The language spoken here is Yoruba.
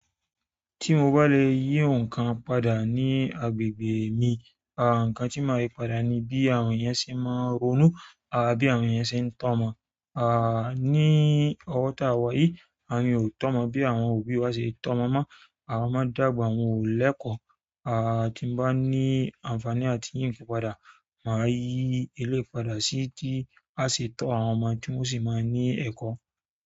Tí mo bá lè yí nǹkan padà ní agbègbè mi, àh, nǹkan tí màá yí padà ni bí àwọn eeyan ṣe máa ń ronú, àbí bí àwọn eeyan ṣe ń tọ́ ọmọ. Àh, ní ọwọ́ tá wà yìí, àwọn eeyan ò tọ́ ọmọ bí àwọn òbí wa ṣe tọ́ ọmọ mọ́. Àwọn ọmọ dàgbà wọn o lẹkọ. Àh, tí n bá ní àǹfààní àti yí nǹkan padà, màá yí eleyi padà sí tí a ṣe tọ́ àwọn ọmọ tí wọ́n o sì máa ní ẹ̀kọ́.